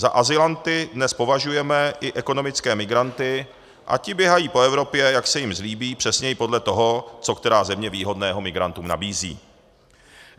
Za azylanty dnes považujeme i ekonomické migranty a ti běhají po Evropě, jak se jim zlíbí, přesněji podle toho, co která země výhodného migrantům nabízí.